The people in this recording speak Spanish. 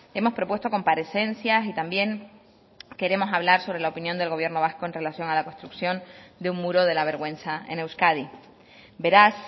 hemos propuesto comparecencias y también queremos hablar sobre la opinión del gobierno vasco en relación a la construcción de un muro de la vergüenza en euskadi beraz